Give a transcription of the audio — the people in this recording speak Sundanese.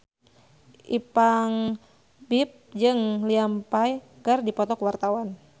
Ipank BIP jeung Liam Payne keur dipoto ku wartawan